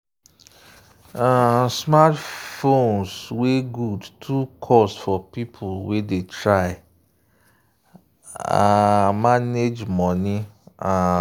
um smartphones wey good too cost for people wey dey try um manage money um